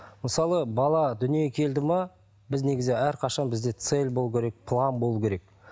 мысалы бала дүниеге келді ме біз негізі әрқашан бізде цель болу керек план болу керек